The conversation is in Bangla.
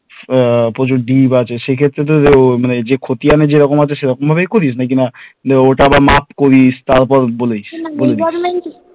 প্রচুর deep আছে সেক্ষেত্রে মানে যে খতিয়ানা যেরকম আছে সেরকম ভাবেই করিস না ওটা আবার মাপ করিস তারপর বলিস